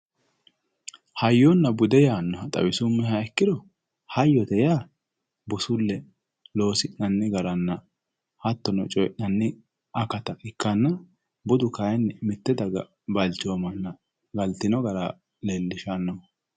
hayyonna bude yaannoha xawisummoheha ikkiro hayyote yaa busulle loosi'nanni garanna hattono coyii'nanni akata ikkanna budu kayiini mitte daga balchoomanna galtino gara leellishannoho.